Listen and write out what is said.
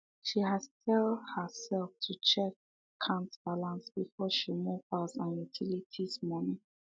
she has tell her self to check akant balance before she move house and utilities money